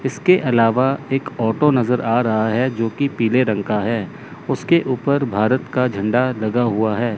इसके अलावा एक ऑटो नजर आ रहा है जोकि पीले रंग का है उसके ऊपर भारत का झंडा लगा हुआ है।